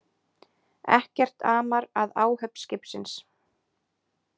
Ekkert amar að áhöfn skipsins